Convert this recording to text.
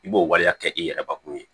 I b'o waleya kɛ i yɛrɛbakun ye